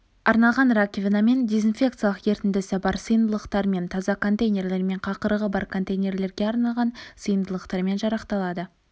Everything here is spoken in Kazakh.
арналған раковинамен дезинфекциялық ерітіндісі бар сыйымдылықтармен таза контейнерлер мен қақырығы бар контейнерлерге арналған сыйымдылықтармен жарақталады